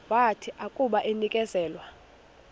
wathi akuba enikezelwe